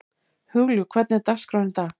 Hugljúf, hvernig er dagskráin í dag?